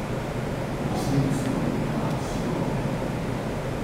Do srede se bo nadaljevalo suho vreme.